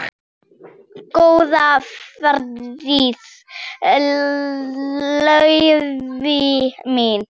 Góða ferð, Laufey mín.